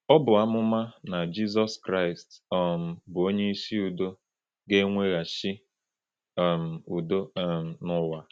Ọ bụ amụma na Jizọs Kraịst, um bụ́ “Onyeisi Udo,” ga-eweghachi um udo um n’ụwa.